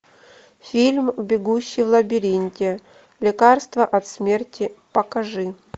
фильм бегущий в лабиринте лекарство от смерти покажи